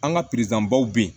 An ka baw bɛ yen